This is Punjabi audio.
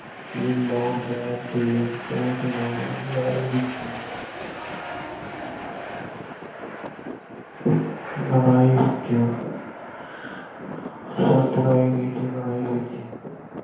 ਕਿ ਲੋੜ ਪੈਣ 'ਤੇ ਉਸਨੂੰ ਲੜਾਈ ਵਿੱਚ ਲੜਾਈ ਵਿੱਚ ਅਹ ਸ਼ਰਤ ਲਾਈ ਗਈ ਕਿ ਲੜਾਈ ਵਿੱਚ